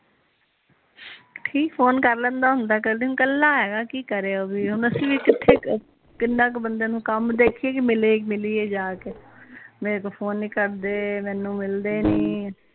phone ਕਰ ਲੈਂਦਾ ਹੁੰਦਾ ਕਲਾ ਹੇਗਾ ਕਿ ਕਿ ਕਰੇ ਉਹ ਵੀ ਹੁਣ ਅਸੀਂ ਵੀ ਕਿਥੇ ਕਿੰਨਾ ਕ ਬੰਦੇ ਨੂੰ ਕਮ ਦੇਖੀਏ ਕੇ ਮਿਲੀਏ ਜਾ ਕੇ ਮੇਰੇ ਕੋਲ ਫੋਨ ਨੀ ਕਰਦੇ ਮੈਨੂੰ ਮਿਲਦੇ ਨੀ